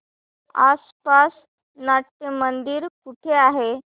आसपास नाट्यमंदिर कुठे आहे